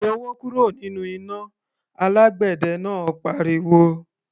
"Yọwọ́ kúrò nínú iná!" Alágbẹ̀dẹ náà pariwo.